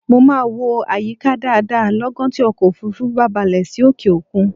Mo máa wo àyíká dáadáa lọ́gán tí ọkọ̀ òfuurufú wa bá balẹ̀ sí òkè-òkun